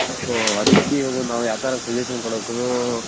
so ಅದಕ್ಕೆ ಇವಾಗ ನಾವ್ ಯಾವ ತರ suggestion ಕೊಡೋಕುನು